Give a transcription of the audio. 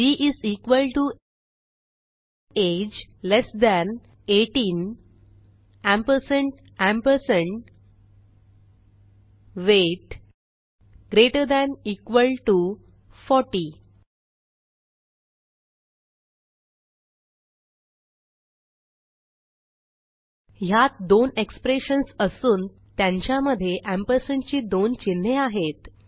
B is equal to age less than 18 ampersand ampersand weight greater than equal to 40 ह्यात दोन expressions असून त्यांच्या मध्ये एम्परसँड ची दोन चिन्हे आहेत